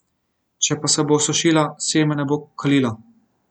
Če pa se bo osušila, seme ne bo kalilo.